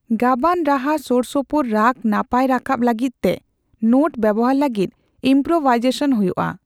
ᱜᱟᱵᱟᱱ ᱨᱟᱦᱟ ᱥᱳᱨᱥᱚᱯᱳᱨ ᱨᱟᱜ ᱱᱟᱯᱟᱭ ᱨᱟᱠᱟᱵ ᱞᱟᱹᱜᱤᱫᱛᱮ ᱱᱳᱴ ᱵᱮᱣᱦᱟᱨ ᱞᱟᱹᱜᱤᱫ ᱤᱢᱯᱳᱨᱳᱵᱷᱟᱭᱡᱮᱥᱚᱱ ᱦᱳᱭᱳᱜᱼᱟ ᱾